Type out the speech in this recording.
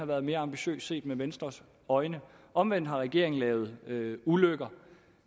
været mere ambitiøs set med venstres øjne omvendt har regeringen lavet ulykker